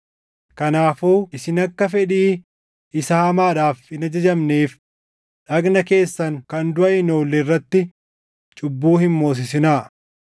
Kanaafuu isin akka fedhii isaa hamaadhaaf hin ajajamneef dhagna keessan kan duʼa hin oolle irratti cubbuu hin moosisinaa.